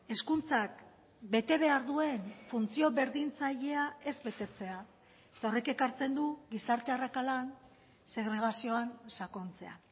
hezkuntzak bete behar duen funtzio berdintzailea ez betetzea eta horrek ekartzen du gizarte arrakalan segregazioan sakontzea